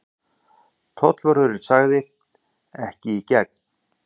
Tollvörðurinn sagði: Ekki í gegn.